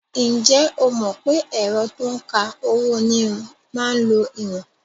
Ǹjẹ́ o mọ̀ pé ẹ̀rọ to ń ka owó-onírin máa ń lo ìwọ̀n?